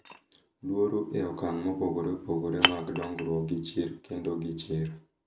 Luoro e okang’ mopogore opogore mag dongruok gi chir kendo gi chir.